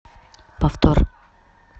повтор